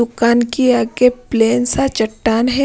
दुकान की आगे प्लेन सा चट्टान है।